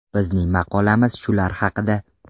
Bizning maqolamiz shular haqida.